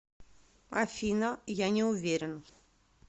афина я не уверен